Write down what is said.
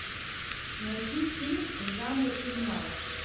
найти фильм в жанре криминал